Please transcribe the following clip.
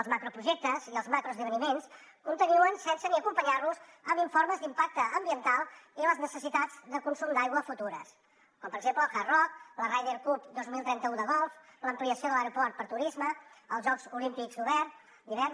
els macroprojectes i els macroesdeveniments continuen sense ni acompanyar los amb informes d’impacte ambiental i les necessitats de consum d’aigua futures com per exemple el hard rock la ryder cup dos mil trenta u de golf l’ampliació de l’aeroport per a turisme els jocs olímpics d’hivern